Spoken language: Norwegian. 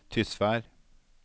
Tysvær